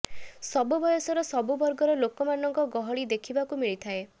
ସବୁ ବୟସର ସବୁ ବର୍ଗର ଲୋକମାନଙ୍କ ଗହଳି ଦେଖିବାକୁ ମିଳିଥିଲା